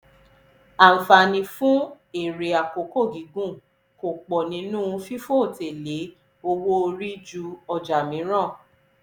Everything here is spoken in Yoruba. àǹfààní fún èrè àkókò gígùn kò pọ̀ nínú fífòté lé owó orí ju ọjà mìíràn.